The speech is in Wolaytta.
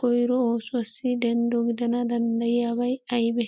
koyiro oosuwassi denddo gidana danddayiyabay ayibe?